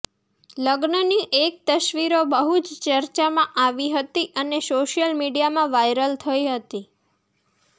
લગ્નની એક તસવીરો બહુ જ ચર્ચામાં આવી હતી અને સોશિયલ મીડિયામાં વાયરલ થઈ હતી